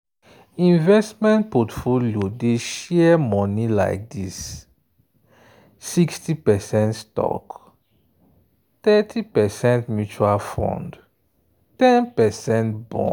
investment portfolio dey share money like this: 60 percent stock thirty percent mutual fund ten percent bond.